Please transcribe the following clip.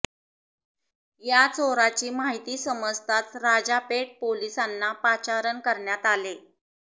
या चोराची माहिती समजताच राजापेठ पोलिसांना पाचारण करण्यात आले